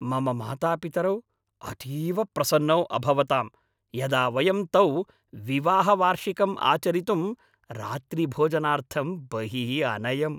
मम मातापितरौ अतीव प्रसन्नौ अभवतां यदा वयं तौ विवाहवार्षिकम् आचरितुम् रात्रिभोजनार्थं बहिः अनयम्।